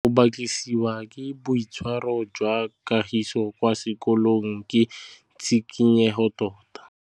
Go batlisisa ka boitshwaro jwa Kagiso kwa sekolong ke tshikinyêgô tota.